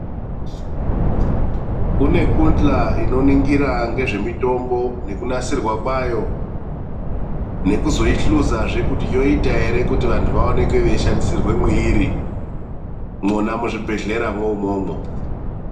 Kune kundhla inoningire ngezve mitombo nekunasirwa kwayo, nekuzoihluzazve kuti yoita ere kuti vanthu vaoneke veishandisirwa mweiri. Mwona muzvibhedhleramwo umwomwo.